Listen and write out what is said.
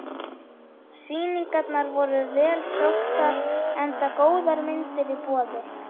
Sýningarnar voru vel sóttar enda góðar myndir í boði.